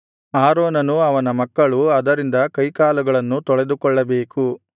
ಆರೋನನೂ ಅವನ ಮಕ್ಕಳೂ ಅದರಿಂದ ಕೈಕಾಲುಗಳನ್ನು ತೊಳೆದುಕೊಳ್ಳಬೇಕು